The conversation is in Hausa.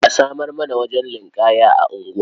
A samar mana wajen ninƙaya a unguwa.